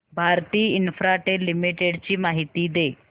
Bharti Infratel limited ची माहिती दे